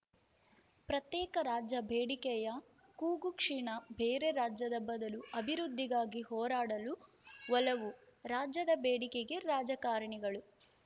ಪ್ರತ್ಯೇಕ ರಾಜ್ಯ ಬೇಡಿಕೆಯ ಕೂಗು ಕ್ಷೀಣ ಬೇರೆ ರಾಜ್ಯದ ಬದಲು ಅಭಿವೃದ್ಧಿಗಾಗಿ ಹೋರಾಡಲು ಒಲವು ರಾಜ್ಯದ ಬೇಡಿಕೆಗೆ ರಾಜಕಾರಣಿಗಳು